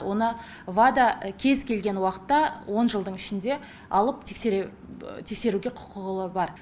оны вада кез келген уақытта он жылдың ішінде алып тексере тексеруге құқылығы бар